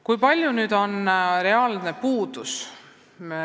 Kui palju on spetsialiste puudu?